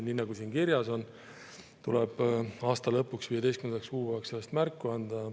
Nii nagu siin kirjas on, tuleb aasta lõpuks, 15. kuupäevaks endast märku anda.